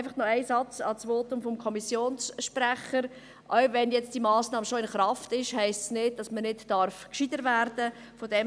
Noch ein Satz zum Votum des Kommissionssprechers: Auch wenn diese Massnahme jetzt schon in Kraft ist, heisst das nicht, dass man nicht gescheiter werden darf.